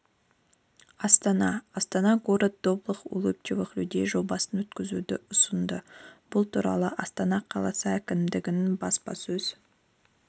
астана астана город добрых улыбчивых людей жобасын өткізуді ұсынды бұл туралы астана қаласы әкімдігінің баспасөз